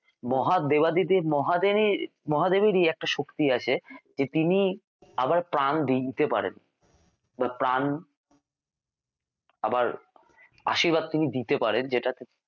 মহা দেবাদিদেব মহাদেবের মহাদেবেরই একটা শক্তি আছে যে তিনি আবার প্রাণ দিয়ে দিতে পারেন বা প্রাণ আবার আশীর্বাদ তিনি দিতে পারেন যেটাতে